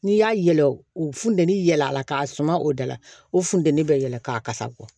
N'i y'a yɛlɛ o funtɛni yɛlɛla k'a suman o da la o funteni bɛ yɛlɛ k'a kasa bɔ